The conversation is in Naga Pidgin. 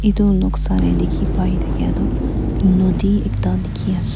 Etu noksa dekhe pai thakya tuh naudi ekta dekhe ase.